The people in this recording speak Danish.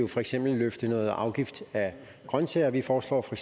for eksempel løfte noget afgift af grøntsager vi foreslår for